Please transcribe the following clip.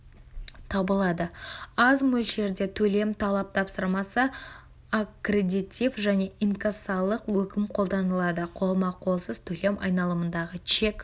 табылады аз мөлшерде төлем талап тапсырмасы аккредетив және инкассалық өкім қолданылады қолма-қолсыз төлем айналымында чек